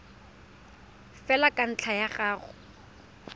fela ka ntlha ya go